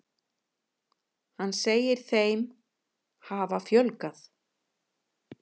Hann segir þeim hafa fjölgað.